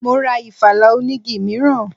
Mọ ra ìfala onigi mìíràn.